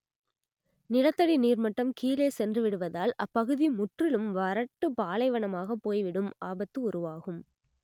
நிலத்தடி நீர்மட்டம் கீழே சென்றுவிடுவதால் அப்பகுதி முற்றிலும் வறட்டு பாலைவனமாகப் போய்விடும் ஆபத்து உருவாகும்